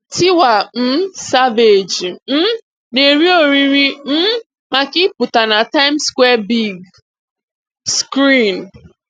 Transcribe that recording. Tiwa um Savage um nà-èrí òrìrì um màkà ìpụtà nà 'Tìmes Square Big Screen.